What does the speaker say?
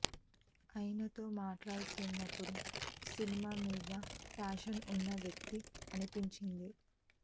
ఆయన తో మాట్లాడుతున్నపుడు సినిమా మీద ఫ్యాషన్ ఉన్న వ్యక్తి అనిపించింది